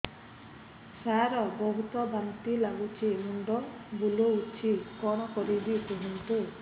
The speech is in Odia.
ସାର ବହୁତ ବାନ୍ତି ଲାଗୁଛି ମୁଣ୍ଡ ବୁଲୋଉଛି କଣ କରିବି କୁହନ୍ତୁ